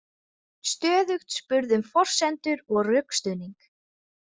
Stöðugt spurð um forsendur og rökstuðning.